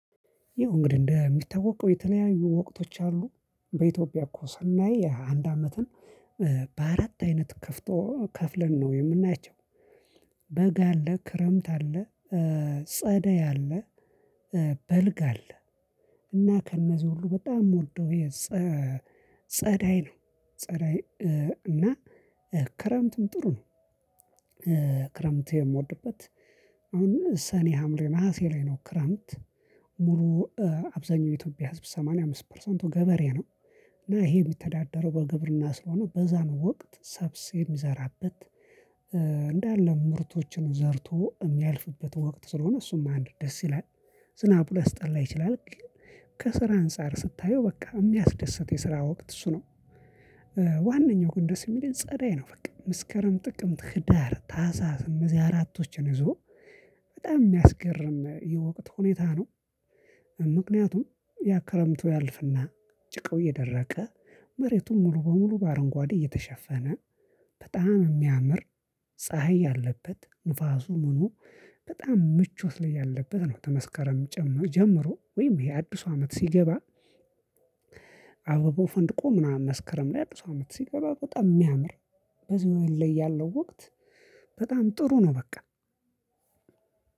ያው እንግዲህ እንደሚታወቀው የተለያዩ ወቅቶች አሉ በኢትዮጵያ እኮ ሰናይ አንድ አመትን በአራት አይነት ከፍቶ ከፍለን ነው የምናያቸው። በጋ አለ ክረምት አለ ጸደይ አለ በልግ አለ። እና ከእነዚህ ሁሉ በጣም የምወደው ጸዳይ ነው። ጸዳይ እና ክረምትም ጥሩ ነው ክረምት የምወድበት አሁን ሰኔ ሀምሌ ነሀሴ ላይ ነው ክረምት ሙሉ አብዛኛው የኢትዮጵያ ህዝብ ሰማንያ አምስት ፐርሰንቱ ገበሬ ነው። እና ይሄ የሚተዳደረው በግብርና ስለሆነ በዛን ወቅት ሰብስ የሚዘራበት እንዳለ ምርቶችን ዘርቶ የሚያልፍበት ወቅት ስለሆነ እሱም አንድ ደስ ይላል። ዝናቡ ሊያስጠላ ይችላል ግን ከስራ አንፃር ስታየው በቃ የሚያስደስት የስራ ወቅት እሱ ነው። ዋነኛው ግን ደስ የሚለን ጸዳይ ነው በቃ። መስከረም ጥቅምት ህዳር ታህሳስ እንዚህ አራቶችን ይዞ በጣም የሚያስገርም የወቅት ሁኔታ ነው። ምክንያቱም ያክረምቱ ያልፍና ጭቃው እየደረቀ መሬቱን ሙሉ በሙሉ በአረንጓዴ እየተሸፈነ በጣም የሚያምር ፀሀይ ያለበት ንፋሱም ሆኖ በጣም ምቾት ላይ ያለበት ነው። ተመስከረም ጀምሮ ወይም ይሄ አዲሱ አመት ሲገባ አበባው ፈንድቆ ምናምን መስከረም ላይ አድሱ አመት ሲገባ በቃ የሚያምር በዚህ ወር ላይ ያለው ወቅት በጣም ጥሩ ነው በቃ።